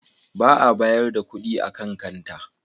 Ba a bayar da kuɗi a kan kanta.